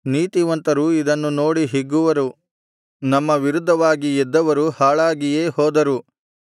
ನೀತಿವಂತರು ಇದನ್ನು ನೋಡಿ ಹಿಗ್ಗುವರು ನಮ್ಮ ವಿರುದ್ಧವಾಗಿ ಎದ್ದವರು ಹಾಳಾಗಿಯೇ ಹೋದರು